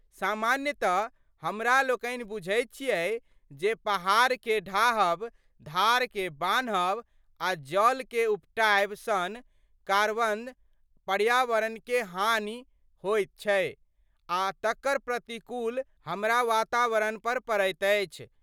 सामान्यतः हमरा लोकनि बुझ्ैत छिऐ जे पहाड़के ढाहब, धारके बान्हब आ जडलके उपटाएब सन कार्वसं पर्यावरणके हानि होइत छै आ तकर प्रतिकूल हमरा बातावरणपर पड़ैत अछि।